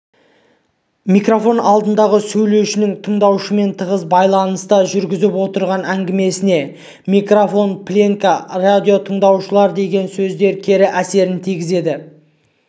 микрофон алдындағы сөйлеушінің тыңдаушымен тығыз байланыста жүргізіп отырған әңгімесіне микрофон пленка радиотыңдаушылар деген сөздер кері әсерін тигізеді